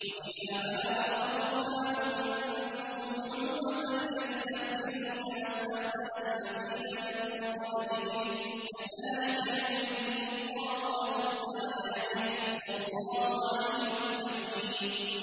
وَإِذَا بَلَغَ الْأَطْفَالُ مِنكُمُ الْحُلُمَ فَلْيَسْتَأْذِنُوا كَمَا اسْتَأْذَنَ الَّذِينَ مِن قَبْلِهِمْ ۚ كَذَٰلِكَ يُبَيِّنُ اللَّهُ لَكُمْ آيَاتِهِ ۗ وَاللَّهُ عَلِيمٌ حَكِيمٌ